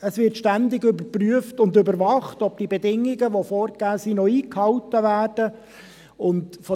es wird ständig überprüft und überwacht, ob die Bedingungen, die vorgegeben sind, noch eingehalten werden.